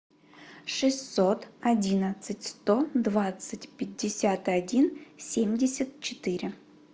шестьсот одиннадцать сто двадцать пятьдесят один семьдесят четыре